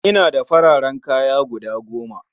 Ina da fararen kaya guda goma